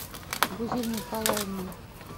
гузель николаевны